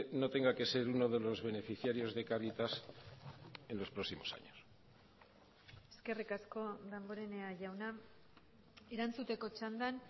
no tenga que ser uno de los beneficiarios de caritas en los próximos años eskerrik asko damborenea jauna erantzuteko txandan